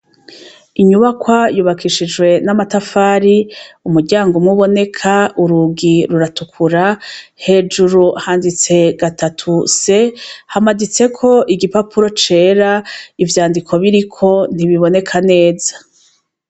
Inyubakwa yubakishijwe n'amatafari , umuryango umwe uboneka ,urugi ruratukura, hejuru handitse gatatu C, hamaditseko igipapuro cera ,ivyandiko biriko ntibiboneka neza.